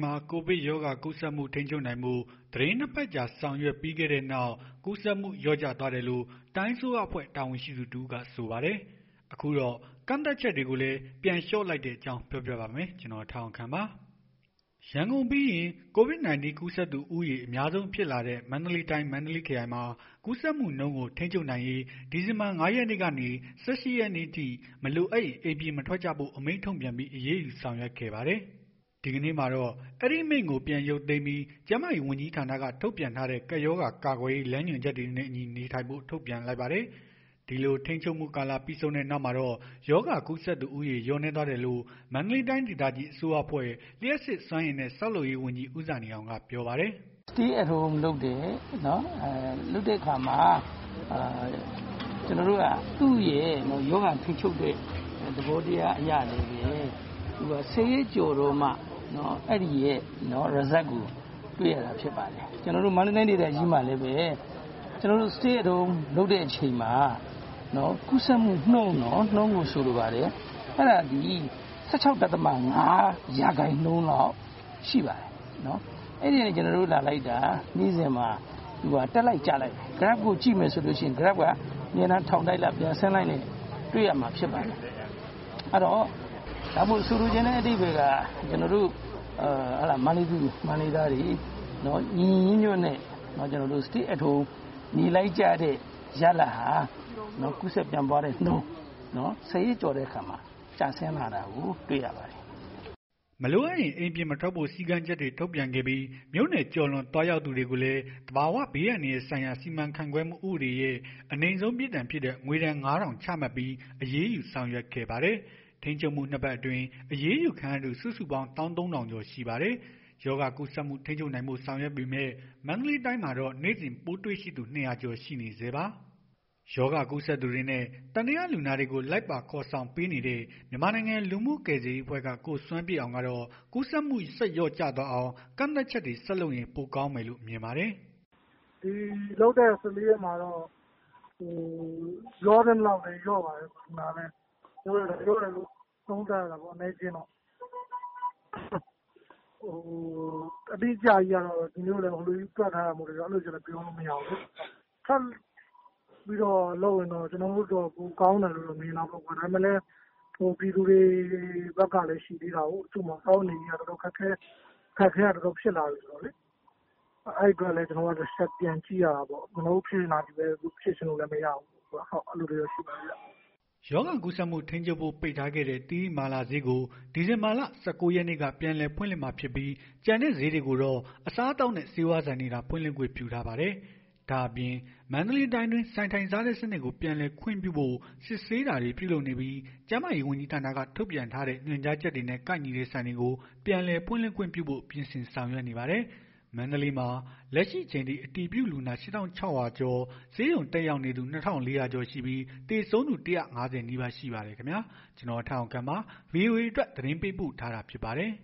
မှာ ကိုဗစ်ရောဂါကူးစက်မှု ထိန်းချုပ်နိုင်ဖို့ သီတင်း ၂ ပတ်ကြာ ဆောင်ရွက်ခဲ့ပြီးတဲ့နောက် ကူးစက်မှုလျော့ကျသွားတယ်လို့ တိုင်းအစိုးရအဖွဲ့ တာဝန်ရှိသူတစ်ဦးကဆိုပါတယ်။ အခုတော့ ကန့်သတ်ချက်တွေကိုလည်း ပြန်လေ ျှာ့လိုက်တဲ့အကြောင်း ကိုထက်အောင်ခန့် က ပြောပြပါမယ်။ ရန်ကုန်ပြီးရင် Covid -19 ကူးစက်သူဦးရေ အများဆုံး ဖြစ်လာတဲ့ မန္တလေးတိုင်း မန္တလေးခရိုင်မှာ ကူးစက်မှုနှုန်းကို ထိန်းချုပ်နိုင်ရေး ဒီဇင်ဘာလ ၅ ရက်နေ့ကနေ ၁၈ ရက်နေ့အထိ မလိုအပ်ရင် အိမ်ပြင်မထွက်ကြဖို့ အမိန့်ထုတ်ပြန်ပြီး အရေးယူဆောင်ရွက်ခဲ့ပါတယ်။ ဒီကနေ့မှာတော့ အဲဒီအမိန့်ကို ပြန်ရုပ်သိမ်းပြီး ကျန်းမာရေးဝန်ကြီးဌာနက ထုတ်ပြန်ထားတဲ့ ကပ်ရောဂါကာကွယ်ရေး လမ်းညွှန်ချက်တွေနဲ့အညီ နေထိုင်ဖို့ ထုတ်ပြန်လိုက်ပါတယ်။ ဒီလိုထိန်းချုပ်မှုကာလပြီဆုံးတဲ့နောက်မှာတော့ ရောဂါကူးစက်သူ လျော့နည်းသွားတယ်လို့ မန္တလေးတိုင်း ဒေသကြီး အစိုးရအဖွဲ့ လျှပ်စစ်စွမ်းအင်နဲ့ ဆောက်လုပ်ရေးဝန်ကြီး ဦးဇာနည်အောင်က ပြောပါတယ်။ “Stay At Home လုပ်တယ်။ သူ့ရဲ့ရောဂါထိန်းချုပ်တဲ့ သဘောတရားအရလည်းပဲ သူက ၁ဝ ရက်ကျော်တော့မှ အဲ့ဒီ Result ကိုတွေ့ရတာဖြစ်ပါတယ်။ ကျွန်တော်တို့မန္တလေးတိုင်ဒေသကြီးမှာလည်းပဲ Stay At Home လုပ်တဲ့ အချိန်မှာ ကူးစက်မှုနှုန်းနော် ၁၆ ဒသမ ၅ ရာခိုင်နှုန်းလောက်ရှိပါတယ်။ အဲ့ဒီကနေ့ လာလိုက်တာ Graph ကိုကြည့်လိုက်တဲ့အခါ နေ့စဉ် ထောင်တက်လိုက် ပြန်ဆင်းလိုက်နဲ့ တွေ့ရမှာ ဖြစ်ပါတယ်။ ဆိုလိုချင်တဲ့ အဓိပ္ပယ်က ကျွန်တော်တို့ မန္တလေးသူ မန္တလေးသားတွေ ကျွန်တော်တို့ ညီညီညွတ်ညွတ်နဲ့ Stay At Home နေလိုက်တဲ့ ရလဒ်ဟာ ကူးစက်မှုနှုန်း ၁ဝ ရက်ကျော်လာတဲ့အခါမှာ ကျဆင်းလာတာကို တွေ့ရပါတယ်။” မလိုအပ်ရင် အိမ်ပြင်မထွက်ဖို့ စည်းကမ်းချက်တွေ ထုတ်ပြန်ခဲ့ပြီး မြို့နယ်ကျော်လွန် သွားရောက်သူ တွေကိုလည်း သဘာဝဘေး အန္တရာယ်ဆိုင်ရာ စီမံခန့်ခွဲမှု ဥပဒေရဲ့ အနိမ့်ဆုံးပြစ်ဒဏ် ဖြစ်တဲ့ ငွေဒဏ် ၅ ထောင် ချမှတ်ပြီး အရေးယူဆောင်ရွက်ခဲ့ပါတယ်။ ထိန်းချုပ်မှု ၂ ပတ်အတွင်း အရေးယူခံရသူ စုစုပေါင်း ၁၃၀၀၀ ကျော်ရှိပါတယ်။ ရောဂါကူးစက်မှုထိန်းချုပ်နိုင်ဖို့ ဆောင်ရွက်ပေမယ့် မန္တလေးတိုင်းမှာတော့ နေ့စဉ်ပိုးတွေ့ရှိသူ ၂၀၀ ကျော်ရှိနေဆဲပါ။ ရောဂါကူးစက်သူတွေနဲ့ သံသယလူနာတွေကို လိုက်ပါခေါ်ဆောင်ပေးနေတဲ့ မြန်မာနိုင်ငံ လူမှုကယ်ဆယ်ရေးအဖွဲ့က ကိုစွမ်းပြည့်အောင်ကတော့ ကူးစက်မှု ဆက်လျော့ကျအောင် ကန့်သတ်ချက် ဆက်လုပ်ရင် ပိုကောင်းမယ်လို့မြင်ပါတယ်။ “ဒီလုပ်တဲ့ ၁၄ ရက်မှာတော့ လျော့သင့်သလောက်လည်း လျော့ပါတယ်။ လျော့တယ်လို့ သုံးသပ်ရတာပေါ့။ အတိအကျကြီး တွက်ထားတာမဟုတ်တော့ ပြောလို့မရဘူးလေ။ ထပ်ပြီးတော့ လုပ်ရင်တော့ ကျွန်တော်တို့အတွက် ပိုကောင်းတယ်လို့ မြင်တာပေါ့နော်။ ဒါပေမယ့်လည်း ပြည်သူတွေဘက်ကလည်း စားဝတ်နေရေးက ခက်ခဲက တော်တော်ဖြစ်လာပြီဆိုတော့ အဲ့တော့လည်း ပြန်ကြည့်ရတာပေါ့။ ကျွန်တော်တို့ ဖြစ်ချင်တာကြီးပဲ ဖြစ်လို့ မရဘူးလေ။” ရောဂါကူးစက်မှုထိန်းချုပ်ဖို့ ပိတ်ထားခဲ့တဲ့ သီရိမာလာဈေးကို ဒီဇင်ဘာလ ၁၉ ရက်နေ့ကနေ ပြန်လည် ဖွင့်လှစ်မှာဖြစ်ပြီး ကျန်တဲ့ဈေးတွေမှာတော့ အစားအသောက်နဲ့ ဆေးဝါးဆိုင်တွေသာ ဖွင့်လှစ်ခွင့် ပြုထားပါတယ်။ ဒါ့အပြင် မန္တလေးတိုင်းအတွင်း ဆိုင်ထိုင်စားတဲ့စနစ်ကို ပြန်လည်ခွင့်ပြုဖို့ စစ်ဆေးတာတွေ ပြုလုပ်နေပြီး ကျန်းမာရေး ဝန်ကြီးဌာနက ထုတ်ပြန်ထားတဲ့ ညွှန်ကြားချက်တွေနဲ့ ကိုက်ညီတဲ့ဆိုင်တွေကို ပြန်လည်ဖွင့်လှစ်ခွင့်ပြုဖို့ ပြင်ဆင်ဆောက်ရွက်နေပါတယ်။ မန္တလေးမှာ လက်ရှိအချိန်ထိ အတည်ပြုလူနာ ၈၆၀၀ ကျော် ဆေးရုံတက်ရောက်နေသူ ၂၄၀၀ ကျော်ရှိပြီး သေဆုံးသူက ၁၅၀ နီးပါးရှိပါတယ်ခင်ဗျာ။ ကျွန်တော်ထက်အောင်ခန့်ပါ။ ဗွီအိုအေအတွက် သတင်းပေးပို့ထားတာ ဖြစ်ပါတယ်